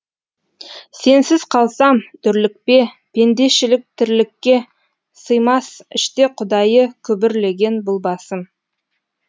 сенсіз қалсам дүрлікпе пендешілік тірлікке сыймас іште құдайы күбірлеген бұл басым